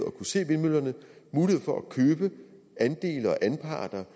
mulighed for at købe andele og anparter